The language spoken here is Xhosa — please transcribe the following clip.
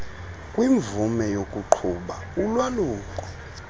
kwimvume yokuqhuba ulwaluko